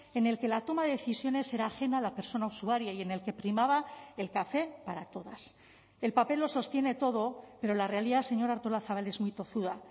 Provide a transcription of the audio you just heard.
en el que la toma de decisiones era ajena a la persona usuaria y en el que primaba el café para todas el papel lo sostiene todo pero la realidad señora artolazabal es muy tozuda